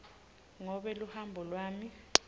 ngobe luhambo lwami